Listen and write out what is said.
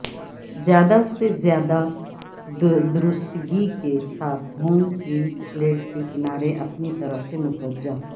زیادہ سے زیادہ درستگی کے ساتھ ہوم کیل پلیٹ کے کنارے اپنی طرف متوجہ